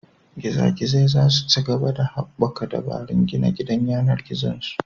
Giza Gizai za su ci gaba da haɓaka dabarun gina gidan yAnar gizon su